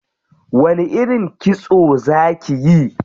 Wani irin kitso za kiyi?